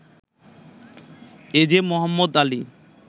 এজে মোহাম্মদ আলী